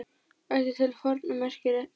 Ætt til forna merkir hér.